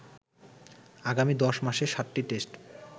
আগামী ১০ মাসে ৭টি টেস্ট